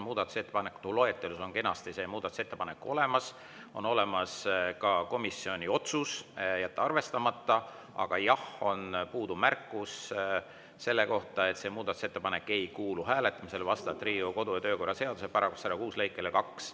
Muudatusettepanekute loetelus on kenasti see muudatusettepanek olemas, on olemas ka komisjoni otsus jätta arvestamata, aga jah, on puudu märkus selle kohta, et see muudatusettepanek ei kuulu hääletamisele vastavalt Riigikogu kodu‑ ja töökorra seaduse § 106 lõikele 2.